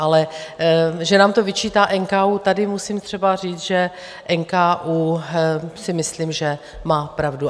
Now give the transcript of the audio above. Ale že nám to vyčítá NKÚ, tady musím třeba říct, že NKÚ si myslím, že má pravdu.